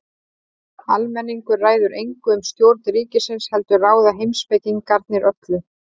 Almenningur ræður engu um stjórn ríkisins heldur ráða heimspekingarnir öllu.